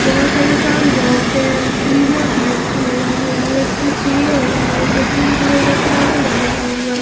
बहुत सारे sound box है की-बोर्ड भी रखा हुआ है यहाँ एक जो चेयर है उसम पिंक कलर का टावल लगाया हुआ है.